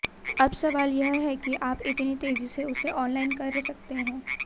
अब सवाल यह है कि आप कितनी तेजी से उसे ऑनलाइन कर सकते हैं